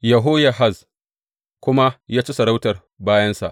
Yehoyahaz kuma ya ci sarauta bayansa.